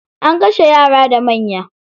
An kashe yara da manya.